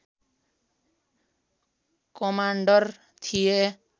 commander थिए